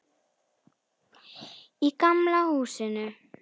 Í gamla húsinu.